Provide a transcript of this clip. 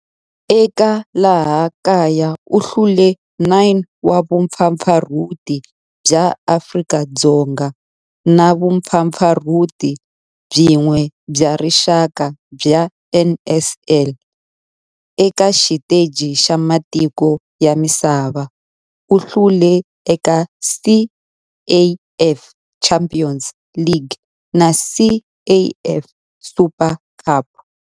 Eka laha kaya u hlule 9 wa vumpfampfarhuti bya Afrika-Dzonga na vumpfampfarhuti byin'we bya rixaka bya NSL. Eka xiteji xa matiko ya misava, u hlule eka CAF Champions League na CAF Super Cup.